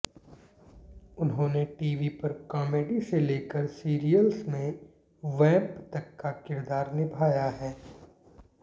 उन्होंने टीवी पर कॉमेडी से लेकर सीरियल्स में वैंप तक का किरदार निभाया है